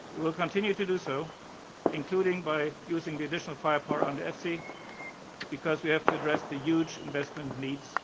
We will continue to do so, including by using the additional firepower under EFSI, because we have to address the huge investment